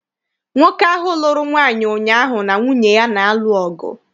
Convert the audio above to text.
Nwoke ahụ lụrụ nwaanyị ụnyaahụ na nwunye ya na-alụ ọgụ.